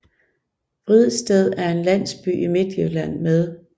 Vridsted er en landsby i Midtjylland med